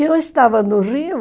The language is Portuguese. E eu estava no Rio,